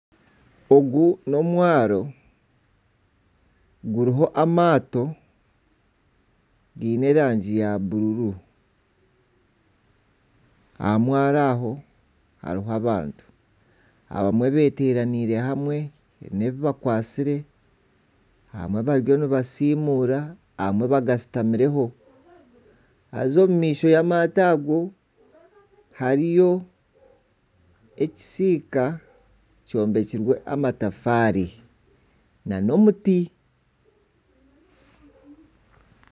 Ogu n'omwaro guri amaato giine erangi ya buru aha mwaro aho hariho abantu abamwe beeteraniire hamwe abamwe beekwatsire abamwe bariyo nibasiimuura abamwe bagashutamireho haza omu maisho y'amaato ago hariyo ekisiika kyombekirwe amatafaari nana omuti